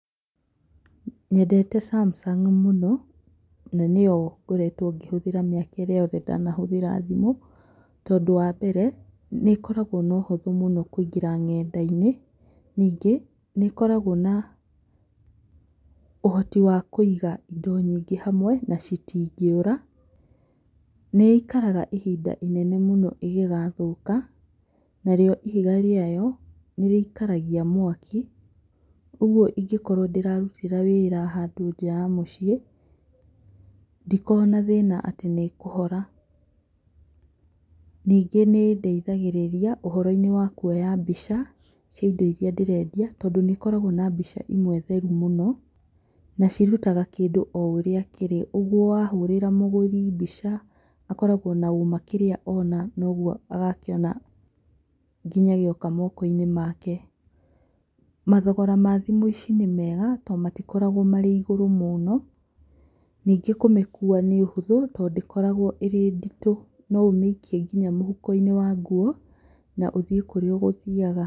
Nyendete Samsung mũno, na nĩyo ngoretwo ngĩhũthĩra mĩaka ĩrĩa yothe ndanahũthĩra thimũ, tondũ wa mbere nĩ ĩkoragwo na ũhũthũ mũno kũingĩra ng'enda-inĩ ningĩ nĩ ĩkoragwo na ũhoti wa kũiga indo nyingĩ handũ hamwe na citingĩũra, nĩ ĩikaraga ihinda inene mũno ĩngĩgathũka na rĩo ihiga rĩayo nĩ rĩikaragia mwaki ũguo ingĩkorwo ndĩrarutĩra wĩra handũ nja ya mũciĩ ndikoragwo na thĩna atĩ nĩ kũhora, ningĩ nĩ ĩndeithagĩrĩria ũhoro-inĩ wa kwoya mbica cia indo iria ndĩrenda tondũ nĩ ĩkoragwo na mbica imwe theru mũno na cirutaga kĩndũ o ũrĩa kĩrĩ, ũguo wa hũrĩra mũgũri mbica akoragwo na ũũma kĩrĩa ona noguo agakĩona gĩoka moko-inĩ make, mathogora ma thimũ ici nĩ mega tondũ matikoragwo me igũrũ mũno, ningĩ kũmĩkuua nĩ ũhũthũ tondũ ndĩkoragwo ĩrĩ nditũ no ũmĩikie nginya mũhuko-inĩ wa nguo na ũthiĩ kũrĩa ũgũthiaga.